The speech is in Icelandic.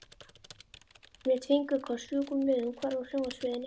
Lét fingurkoss fjúka um leið og hún hvarf af sjónarsviðinu.